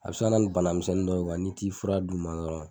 A be se ka na ni bana misɛnnin dɔ ye n'i t'i fura d'u ma dɔrɔn.